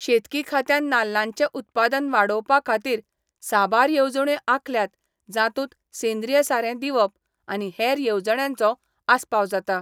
शेतकी खात्यान नाल्लांचे उत्पादन वाडोवपा खातीर साबार येवजण्यो आंखल्यात जांतूत सेंद्रीय सारें दिवप आनी हेर येवजण्यांचो आसपाव जाता.